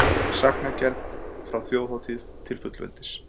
Sagnagerð frá þjóðhátíð til fullveldis